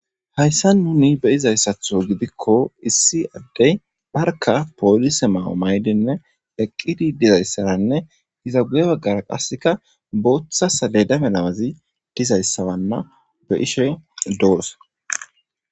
Hayssa nuni beyizayssatho gidikko issi addey barka poolise maumaydenne eqqidi dizayssaranne iza guye baggara qasseka booththasaledame lamazi dizayssawanna be ishe doorosa.